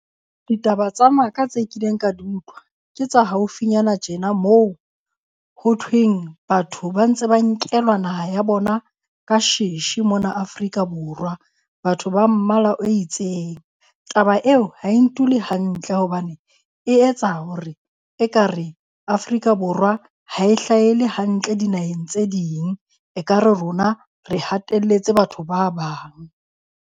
Ditaba tsa maka tse kileng ka di utlwa, ke tsa haufinyana tjena moo ho thweng batho ba ntse ba nkelwa naha ya bona ka sheshe mona Afrika Borwa. Batho ba mmala o itseng. Taba eo ha e ntule hantle hobane e etsa hore ekare Afrika Borwa ha e hlahele hantle dinaheng tse ding. Ekare rona re hatelletse batho ba bang.